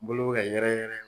Bolo be ka yɛrɛyɛrɛ